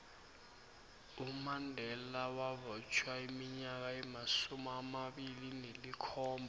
umandela wabotjhwa iminyaka emasumi amabili nelikhomba